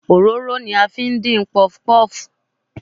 Òróró ni a fi ń dín puff-puff.